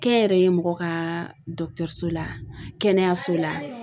Kɛnyɛrɛye mɔgɔ ka so la kɛnɛyaso la.